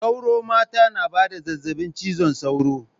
Sauro mata na ba da zazzabin cizon sauro.